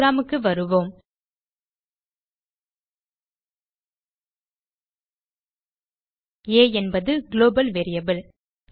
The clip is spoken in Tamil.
புரோகிராம் க்கு வருவோம் ஆ என்பது குளோபல் வேரியபிள்